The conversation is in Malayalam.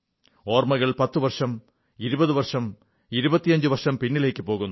ഓർമ്മകൾ 10 വർഷം 20 വർഷം 25 വർഷം പിന്നിലേക്കു പോകുന്നു